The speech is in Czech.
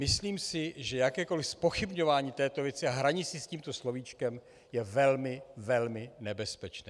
Myslím si, že jakékoliv zpochybňování této věci a hraní si s tímto slovíčkem je velmi, velmi nebezpečné.